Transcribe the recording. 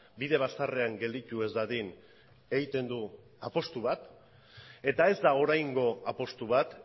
bide bazterrean gelditu ez dadin egiten du apustu bat eta ez da oraingo apustu bat